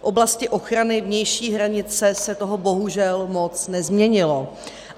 V oblasti ochrany vnější hranice se toho bohužel moc nezměnilo.